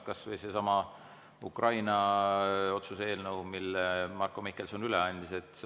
Kas või seesama Ukraina otsuse eelnõu, mille Marko Mihkelson üle andis.